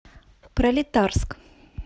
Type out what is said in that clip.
пролетарск